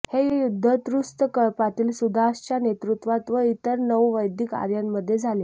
हे युद्ध तृत्सु कळपातील सुदासच्या नेतृत्वात व इतर नऊ वैदिक आर्यांमध्ये झाले